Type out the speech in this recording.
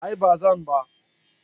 A'a bazan ba.